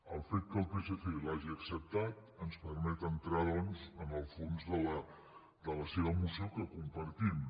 el fet que el psc l’hagi acceptat ens permet entrar doncs en el fons de la seva moció que compartim